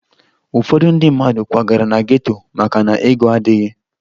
Ụfọdụ ndị mmadụ kwagara na geto maka na ego adịghị